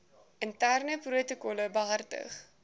interne protokolle behartig